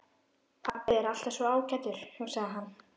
Pabbi er alltaf svo ágætur, hugsaði hann.